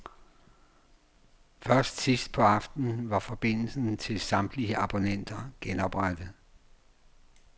Først sidst på aftenen var forbindelsen til samtlige abonnenter genoprettet.